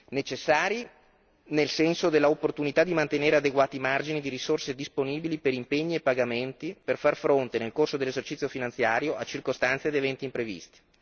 Necessari, nel senso dell'opportunità di mantenere adeguati margini di risorse disponibili per impegni e pagamenti per far fronte, nel corso dell'esercizio finanziario, a circostanze ed eventi imprevisti.